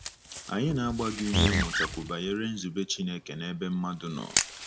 Anyị na-agba gị ume ịmụtakwu banyere nzube Chineke n'ebe mmadụ nọ.